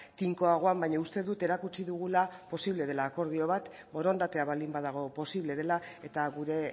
tinkoagoan baina uste dut erakutsi dugula posible dela akordio bat borondatea baldin badago posible dela eta gure